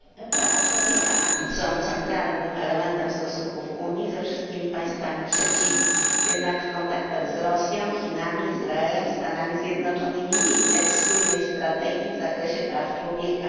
Prawa człowieka są centralnym elementem stosunków Unii ze wszystkimi państwami trzecimi, jednak w kontaktach z Rosją, Chinami, Izraelem, Stanami Zjednoczonymi nie widać spójnej strategii w zakresie praw człowieka.